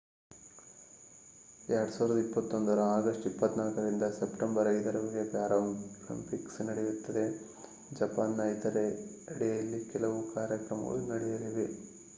2021 ರ ಅಗಸ್ಟ್ 24 ರಿಂದ ಸೆಪ್ಟೆಂಬರ್ 5 ರವರೆಗೆ ಪ್ಯಾರಾಲಿಂಪಿಕ್ಸ್ ನಡೆಯುತ್ತದೆ. ಜಪಾನ್‌ನ ಇತರೆಡೆಯಲ್ಲಿ ಕೆಲವು ಕಾರ್ಯಕ್ರಮಗಳು ನಡೆಯಲಿವೆ